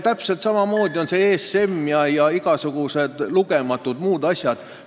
Täpselt samamoodi on ESM-i ja lugematute muude asjadega.